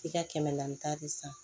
I ka kɛmɛ naani ta de san